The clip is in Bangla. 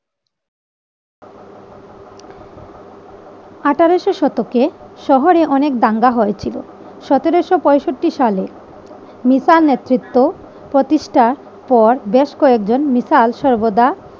আঠেরোশো শতকে শহরে অনেক দাঙ্গা হয়েছিল। সতেরো শো পঁয়ষট্টি সালে নেতৃত্ব প্রতিষ্ঠার পর বেশ কয়েকজন মিসাল সর্দার